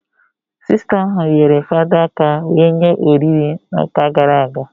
Sista ahụ nyere fada aka wee nye oriri na ụka gara aga